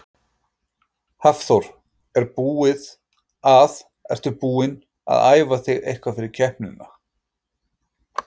Hafþór: Er búið að, ertu búin að æfa þig eitthvað fyrir keppnina?